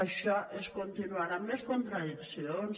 això és continuar amb les contradiccions